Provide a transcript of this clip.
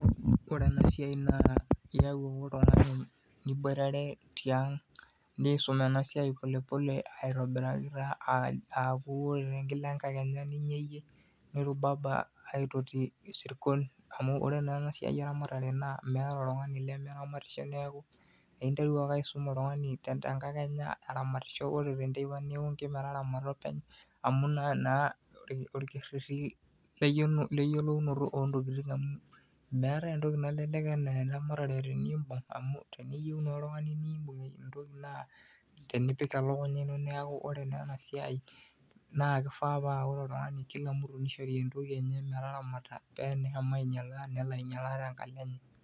Ore enasiai naa iyau ake oltung'ani naboitare tiang nisum enasiai polepole aitobiraki taa aku ore kila enkakenya ninyeyie, nirubaba aitoti isirkon, amu ore naa enasiai eramatare naa meeta oltung'ani lemeramatisho neeku, interu ake aisum oltung'ani tenkakenya eramatisho ore tenteipa niunki metaramata openy, amu naa orkerrerri leyiolounoto ontokiting amu meetae entoki nalelek enaa eramatare teniibung' amu teniyieu naa oltung'ani nibung' entoki naa tenipik elukunya ino neeku ore naa enasiai naa kifaa pa ore oltung'ani kila mtu nishori entoki enye metaramata peneshomo ainyalaa ninyalaa tenkalo enye.